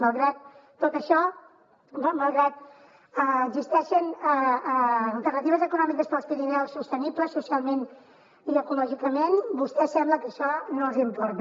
malgrat tot això malgrat que existeixen alternatives econòmiques per als pirineus sostenibles socialment i ecològicament a vostès sembla que això no els importa